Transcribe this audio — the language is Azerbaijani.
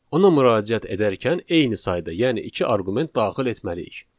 Ona müraciət edərkən eyni sayda, yəni iki arqument daxil etməliyik.